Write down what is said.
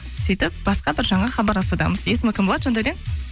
сөйтіп басқа бір жанға хабарласудамыз есімі кім болады жандәурен